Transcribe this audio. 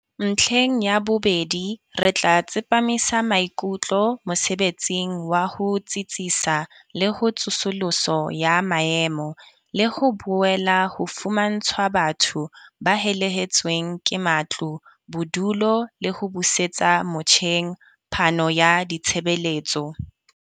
Ntlheng ya bobedi, re tla tsepamisa maikutlo mosebetsing wa ho tsitsisa le ho tsosoloso ya maemo, le ho boela ho fumantshwa batho ba helehetsweng ke matlo bodulo le ho busetsa motjheng phano ya ditshebeletso.